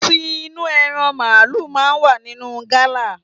Ti inú ẹran màlúù máa ń wà nínú gala.